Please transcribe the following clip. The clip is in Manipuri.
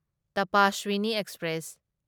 ꯇꯄꯁ꯭ꯋꯤꯅꯤ ꯑꯦꯛꯁꯄ꯭ꯔꯦꯁ